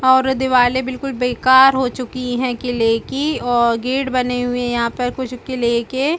और दीवाली बिलकुल बेकार हो चुकी है क्ले की और गेट बने हुए है यहाँ पर कुछ क्ले के --